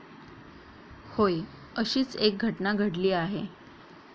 होय अशीच एक घटना घडली आहे.